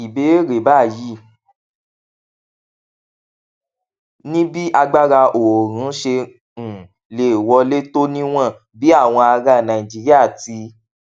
ìbéèrè báyìí ni bí agbára oorun ṣe um lè wọlé tó níwòn bí àwọn ará nàìjíríà ti